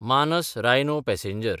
मानस रायनो पॅसेंजर